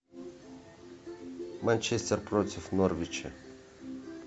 манчестер против норвича